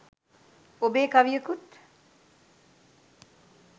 ඔබේ කවියකුත්